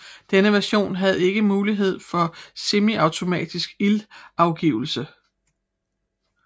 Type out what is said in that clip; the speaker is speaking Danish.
Denne version havde ikke mulighed for semiautomatisk ildafgivelse